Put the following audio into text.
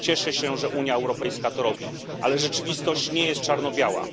Cieszę się, że Unia Europejska to robi, ale rzeczywistość nie jest czarno biała.